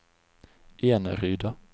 Eneryda